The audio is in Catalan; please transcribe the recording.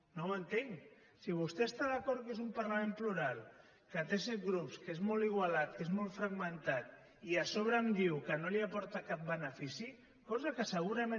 no ho entenc si vostè està d’acord que és un parlament plural que té set grups que és molt igualat que és molt fragmentat i a sobre em diu que no li aporta cap benefici cosa que segurament